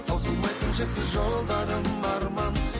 таусылмайтын шексіз жолдарым арман